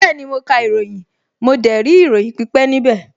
Bẹ́ẹ̀ni, mo ka ìròyìn, mo dẹ̀ rí ìròyìn pípẹ́ níbẹ̀